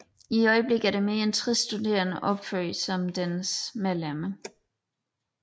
I øjeblikket er mere end 60 studerende opført som dets medlemmer